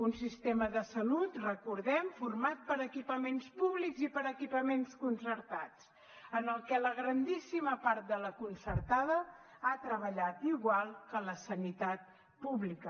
un sistema de salut recordem ho format per equipaments públics i per equipaments concertats en el que la grandíssima part de la concertada ha treballat igual que la sanitat pública